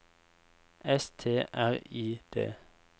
S T R I D